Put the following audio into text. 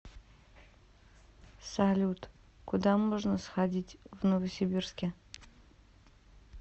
салют куда можно сходить в новосибирске